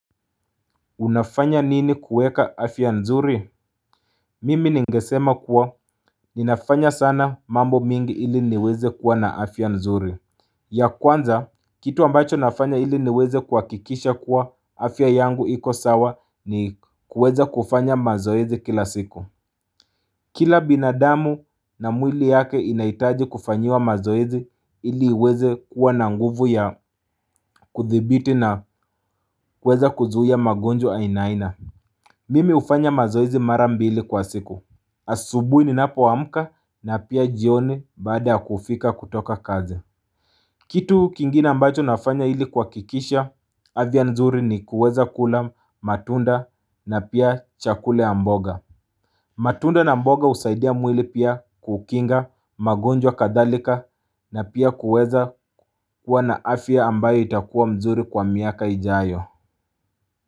Unafanya nini kuweka afya nzuri Mimi ningesema kuwa ninafanya sana mambo mingi ili niweze kuwa na afya nzuri ya kwanza kitu ambacho nafanya ili niweze kuhakikisha kuwa afya yangu iko sawa ni kuweza kufanya mazoezi kila siku Kila binadamu na mwili yake inahitaji kufanyiwa mazoezi ili iweze kua na nguvu ya kuthibiti na kuweza kuzuia magonjwa ainaina Mimi hufanya mazoezi marambili kwa siku asubuhi ninapoamka na pia jioni baada kufika kutoka kazi Kitu kingine ambacho nafanya ili kuhakikisha afya nzuri ni kuweza kula matunda na pia chakula ya mboga matunda na mboga husaidia mwili pia kukinga magonjwa kadhalika na pia kuweza kuwa na afya ambayo itakuwa mzuri kwa miaka ijayo.